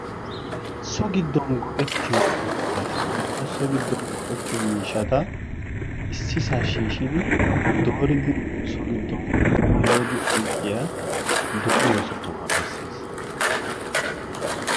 so giiddon go"ettiyoo buqqarata woykko so giiddon miishshata issisaa shiishidi dooridi so giddon puulayidi oyqqiyaa dooriyoo sohuwaa bessees.